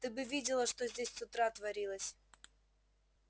ты бы видела что здесь с утра творилось